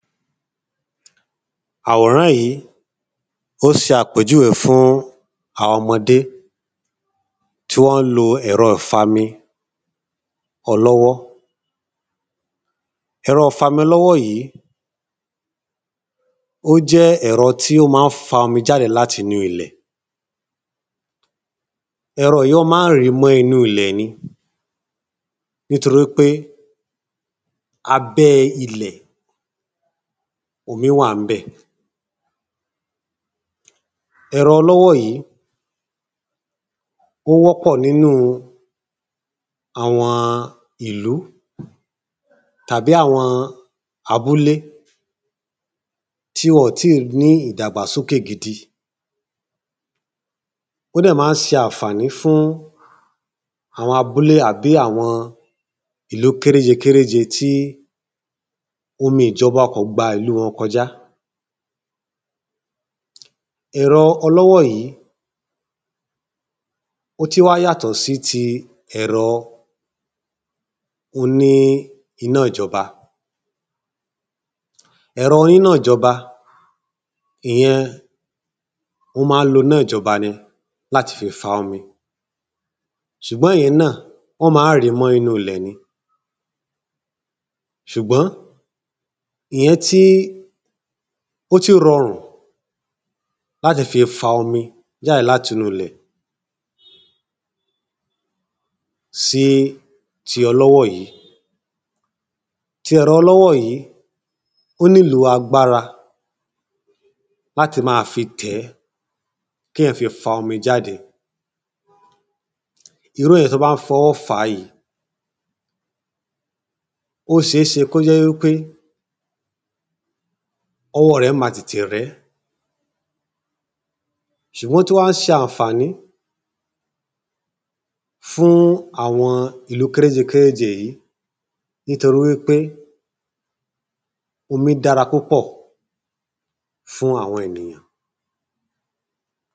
Àwòrán yí, ó jẹ́ àpèjúwé fún àwọn ọmọdé tí wọ́n tí wọ́n lo ẹ̀rọ 'fami ọlọ́wọ́. Ẹ̀rọ 'fami ọlọ́wọ́ yìí, ó jẹ́ ẹ̀rọ tí ó má ń fa omi l'áti nú ilẹ̀ Ẹ̀rọ yìí ọ́ má ń rì mọ́ inú ilẹ̀ ni nítorí pé abẹ́ ilẹ̣̀ omi wà ń bẹ̀. Ẹ̀rọ ọlọ́wọ́ yìí, ó wọ́ pọ̀ n'ínú àwọn ìlú tàbí àwọn abúlé tí wọ̀n tí ní ìdàgbàsókè gidi. Ó dẹ̀ má ń ṣe ànfàní fún àwọn abúlé àbí àwọn ìlú kéréjé kéréjé tí omi ìjọba kò gba ìlú wọn kojá. Ẹ̀rọ ọlọ́wọ́ yìí ó tí wà yàtọ̀ sí ti ẹ̀rọ o ní iná ìjọba. Ẹ̀rọ iná 'jọba ìyẹn ó má ń lo 'ná ìjọba ni l’áti fi fa omi. Ṣùgbọ́n ìyẹn náà, wọ́n má ń rì mọ́ inú ilẹ̀ ni. Ṣùgbọ́n ìyẹn tí ó tí rọrùn l’áti fi fa omi jáde l'áti inú ilẹ̀ sí ti ọlọ́wọ́ yìí. Ti ẹ̀rọ ọlọ́wọ́ yìí, ó nílò agbára l'áti má a fi tẹ̀ẹ́ k'éyàn fi fa omi jáde Irú èyàn t’ó bá ń fi ọwọ́ fá yìí, Irú èyàn t’ó bá ń fi ọwọ́ fá yìí, ó ṣeésẹ k'ó jẹ́ wí pé ọwọ́ rẹ̀ ma tètè rẹ̀ ẹ́ Ṣùgbọ́n ó tú wá ṣe ànfàní fún àwọn ìlú kéréjé kéréjé yìí nítorí wí pé omi dára púpọ̀ fún àwọn enìyàn